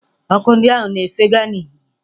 Ọkụ ndị ahụ na-efega n'ìhè.